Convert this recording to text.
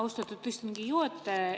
Austatud istungi juhataja!